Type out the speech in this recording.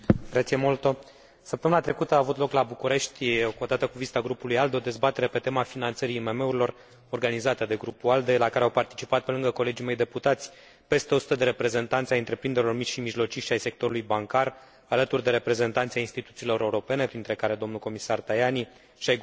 Săptămâna trecută a avut loc la București, odată cu vizita Grupului ALDE, o dezbatere pe tema finanțării IMM urilor organizată de Grupul ALDE, la care au participat, pe lângă colegii mei deputați, peste 100 de reprezentanți ai întreprinderilor mici și mijlocii și ai sectorului bancar, alături de reprezentanți ai instituțiilor europene, printre care domnul comisar Tajani, și ai guvernului României.